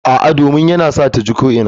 A'a, domin yana sa ta ji ko'ina.